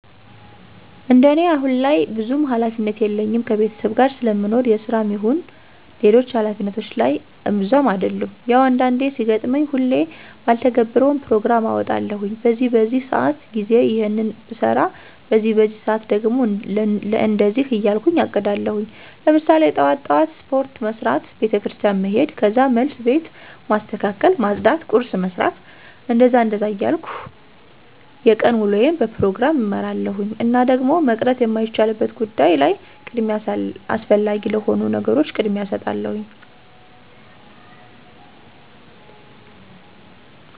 እንደኔ አሁን ላይ ብዙም ሀላፊነት የለኝም ከቤተሰብ ጋር ስለምኖር የስራም ይሁን ሌሎች ሀላፊነቶች ላይ እብዛም አደሉም። ያው አንዳንዴ ሲገጥመኝ ሁሌ ባልተገብረውም ፕሮግራም አወጣለሁኝ በዚህ በዚህ ሰአት ጊዜ ይሔንን ብሰራ በዚህ በዚህ ሰአት ደግሞ ለእንደዚህ እያልኩ አቅዳለሁኝ። ለምሳሌ ጥዋት ጥዋት ስፖርት መስራት፣ ቤተክርስቲያን መሔድ ከዛ መልስ ቤት ማስተካከል ማፅዳት ቁርስ መስራት... እንደዛ እንደዛ እያልኩ የቀን ውሎየን በፕሮግራም እመራለሁኝ። እና ደግሞ መቅረት የማይቻልበት ጉዳይ ላይ ቅድሚያ አስፈላጊ ለሆኑ ነገሮች ቅድሚያ እሰጣለሁኝ።